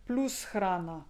Plus hrana!